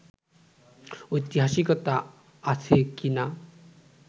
ঐতিহাসিকতা আছে কি না